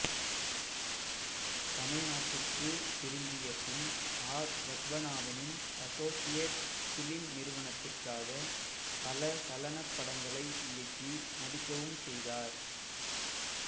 தமிழ்நாட்டிற்குத் திரும்பிய பின் ஆர் பத்மநாபனின் அசோசியேட் ஃபிலிம் நிறுவனத்திற்காகப் பல சலனப் படங்களை இயக்கி நடிக்கவும் செய்தார்